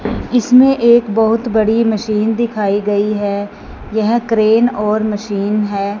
इसमें एक बहुत बड़ी मशीन दिखाई गई है यह क्रेन और मशीन है।